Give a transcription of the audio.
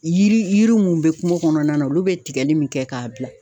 Yiri yiri mun bɛ kungo kɔnɔna na, olu bɛ tigɛli min kɛ k'a bila.